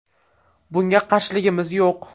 Bunga qarshiligimiz yo‘q.